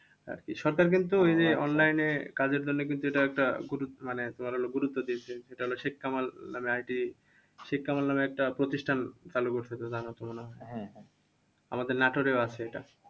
আরকি। সরকার কিন্তু ওই যে online এ কাজের জন্য কিন্তু এটা একটা গুরু মানে তোমার হলো গুরুত্ব দিয়েছেন সেটা হলো শেখ কামাল নামে IT শেখ কামাল নামে একটা প্রতিষ্ঠান চালু করছিলো আমাদের নাটোরেও আছে এটা।